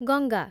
Ganga